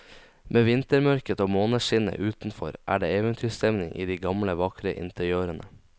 Med vintermørket og måneskinnet utenfor er det eventyrstemning i de gamle vakre interiørene.